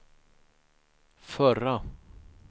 förra